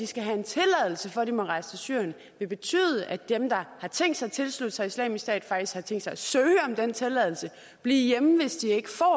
skal have en tilladelse for at de må rejse til syrien vil betyde at dem der har tænkt sig at tilslutte sig islamisk stat faktisk har tænkt sig at søge om den tilladelse og blive hjemme hvis de ikke får